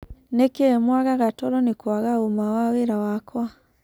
"Nĩkĩ mwagaga toro nĩkwaga ũma wa wĩra wakwa ?